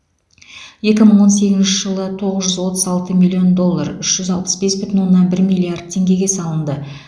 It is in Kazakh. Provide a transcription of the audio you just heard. екі мың он сегізінші жылы тоғыз жүз отыз алты миллион доллар үш жүз алпыс бес бүтін оннан бір миллиард теңгеге салынды